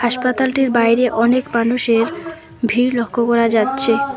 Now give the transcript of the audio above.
হাসপাতালটির বাইরে অনেক মানুষের ভিড় লক্ষ করা যাচ্ছে।